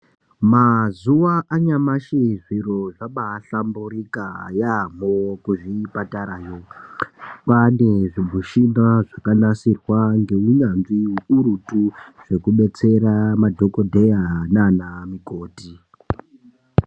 Mazuwa anyamashi zviro zvabaahlamburika yaamho kuzvipatarayo. Kwaane zvimushina zvakanasirwa ngeunyanzvi ukurutu, zvekubetsera madhokodheya naanamukoti.